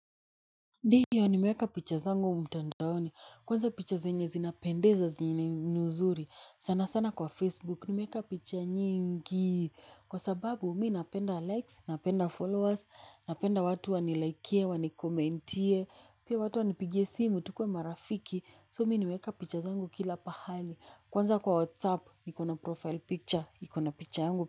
Ndiyo nimeweka picha zangu mtandaoni kwanza picha zenye zina pendeza zile ni nzuri sana sana kwa facebook nimeweka picha nyingi. Kwa sababu mi napenda likes napenda followers napenda watu wanilaikie wani komentie pia watu wanipigie simu tukue marafiki so mi meweka picha zangu kila pahali. Kwa sababu mi napenda likes napenda followers napenda watu waniliaikie wani komentie pia watu wanipigie simu tukuwe marafiki so mi meweka picha zangu kila pahali.